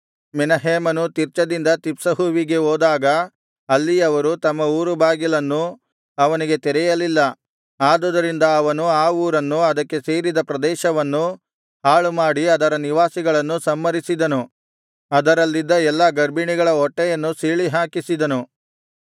ಮೆನಹೇಮನು ತಿರ್ಚದಿಂದ ತಿಪ್ಸಹುವಿಗೆ ಹೋದಾಗ ಅಲ್ಲಿಯವರು ತಮ್ಮ ಊರುಬಾಗಿಲನ್ನು ಅವನಿಗೆ ತೆರೆಯಲಿಲ್ಲ ಆದುದರಿಂದ ಅವನು ಆ ಊರನ್ನು ಅದಕ್ಕೆ ಸೇರಿದ ಪ್ರದೇಶವನ್ನೂ ಹಾಳುಮಾಡಿ ಅದರ ನಿವಾಸಿಗಳನ್ನು ಸಂಹರಿಸಿದನು ಅದರಲ್ಲಿದ್ದ ಎಲ್ಲಾ ಗರ್ಭಿಣಿಗಳ ಹೊಟ್ಟೆಯನ್ನು ಸೀಳಿಹಾಕಿಸಿದನು